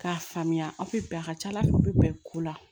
K'a faamuya aw bɛ bɛn a ka ca ala fɛ u bɛ bɛn ko la